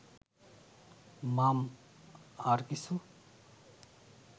মাম... আর কিছু